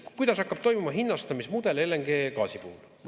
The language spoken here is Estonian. Kuidas hakkab toimuma hinnastamismudel LNG-gaasi puhul?